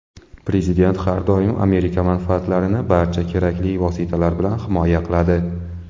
Prezident har doim Amerika manfaatlarini barcha kerakli vositalar bilan himoya qiladi.